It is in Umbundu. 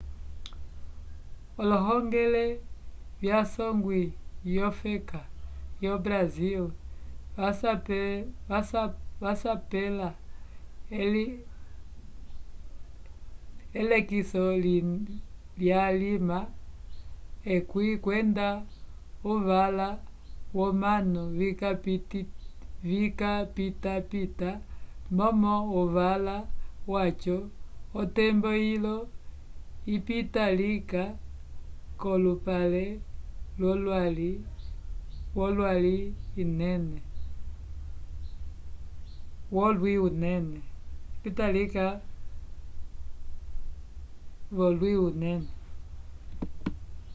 ohongele yasongwi yofeka yo brasil vasapela elekiso lyalima 10 kwenda uvala womanu vikapitapita momo uvala waco otembo yilo yipita lika k'olupale wolwi inene